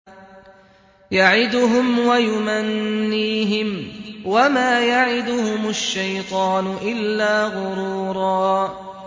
يَعِدُهُمْ وَيُمَنِّيهِمْ ۖ وَمَا يَعِدُهُمُ الشَّيْطَانُ إِلَّا غُرُورًا